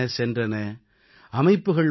அரசுகள் வந்தன சென்றன